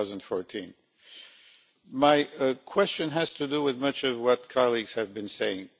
2014. My question has to do with much of what colleagues have been saying.